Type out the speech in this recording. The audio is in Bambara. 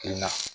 Kelen na